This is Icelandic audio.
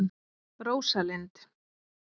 Rósalind